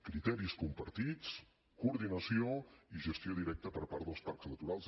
criteris compartits coordinació i gestió directa per part dels parcs naturals